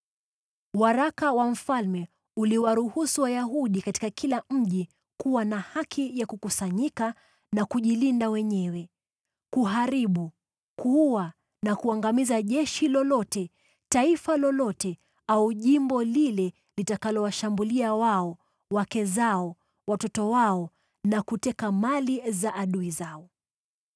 Waraka wa mfalme uliwaruhusu Wayahudi katika kila mji kuwa na haki ya kukusanyika na kujilinda wenyewe; kuharibu, kuua na kuangamiza jeshi lolote, taifa lolote au jimbo lile litakalowashambulia wao, wake zao, watoto wao na kuteka mali za adui zao.